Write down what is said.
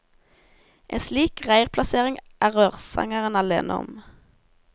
En slik reirplassering er rørsangeren alene om.